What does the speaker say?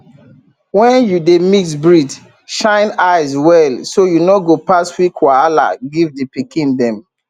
when you dey mix breed shine eye well so you no go pass weak wahala give the pikin dem